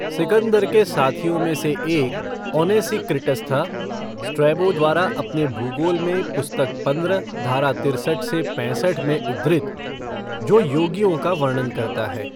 सिकंदर के साथियों में से एक ओनेसिक्रिटस था स्ट्रैबो द्वारा अपने भूगोल में पुस्तक पंद्रह, धारा तिरसठ से पैंसठ में उद्धृत जो योगियों का वर्णन करता है।